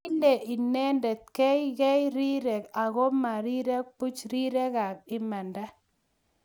kile inendet kei kei rirek aku ma rirek buch, rirekab imanda